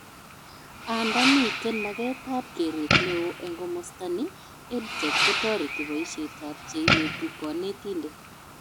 Andaa miten magetab keret neo eng komostani, EdTech kotoreti boishetab cheineti konetindet